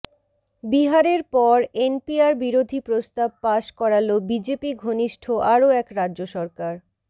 বিহারের পর এনপিআর বিরোধী প্রস্তাব পাশ করাল বিজেপি ঘনিষ্ঠ আরও এক রাজ্য সরকার